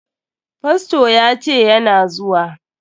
Fasto ya ce yana zuwa.